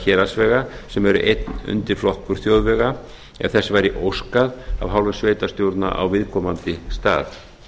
héraðsvega sem er einn undirflokkur þjóðvega ef þess væri óskað af hálfu sveitarstjórna á viðkomandi stað